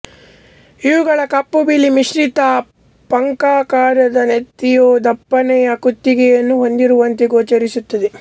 ಇವುಗಳ ಕಪ್ಪು ಬಿಳಿ ಮಿಶ್ರಿತ ಪಂಖಾಕಾರದ ನೆತ್ತಿಯು ದಪ್ಪನೆಯ ಕುತ್ತಿಗೆಯನ್ನು ಹೊಂದಿರುವಂತೆ ಗೋಚರಿಸುತ್ತದೆ